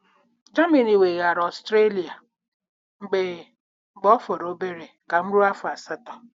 Germany weghaara Austria mgbe mgbe ọ fọrọ obere ka m rue afọ asatọ.